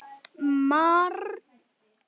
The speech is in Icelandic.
Margur leyfir sér opnar dyr inn að ganga.